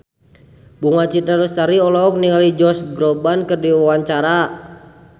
Bunga Citra Lestari olohok ningali Josh Groban keur diwawancara